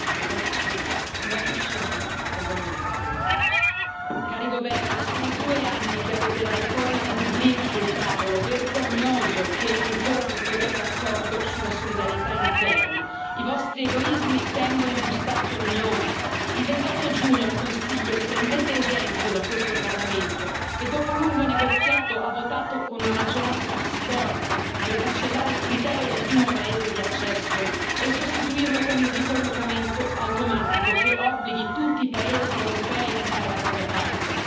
Signora Presidente, onorevoli colleghi, cari governi, sono due anni che avete la riforma di Dublino sul tavolo, è vergognoso che ancora non troviate accordo sulla solidarietà interna. I vostri egoismi tengono in ostaggio l'Unione. Il 28 giugno al Consiglio prendete esempio da questo Parlamento che, dopo un lungo negoziato, ha votato con una maggioranza storica per cancellare il criterio del primo paese di accesso e sostituirlo con il ricollocamento automatico che obblighi tutti i paesi europei a fare la propria parte.